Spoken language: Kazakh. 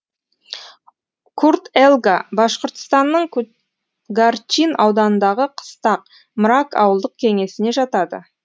курт елга башқұртстанның ку гарчин ауданындағы қыстақ мрак ауылдық кеңесіне жатады